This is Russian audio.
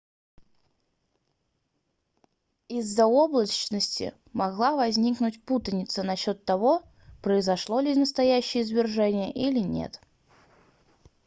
иза-за облачности могла возникнуть путаница насчёт того произошло ли настоящее извержение или нет